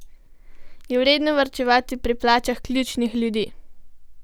Je vredno varčevati pri plačah ključnih ljudi?